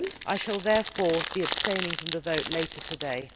I shall therefore be abstaining from the vote later today.